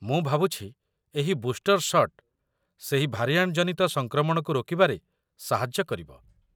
ମୁଁ ଭାବୁଛି ଏହି ବୁଷ୍ଟର୍ ସଟ୍ ସେହି ଭାରିଆଣ୍ଟ ଜନିତ ସଂକ୍ରମଣକୁ ରୋକିବାରେ ସାହାଯ୍ୟ କରିବ।